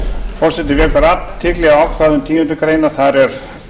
forseti vekur athygli á ákvæðum tíundu greinar þar er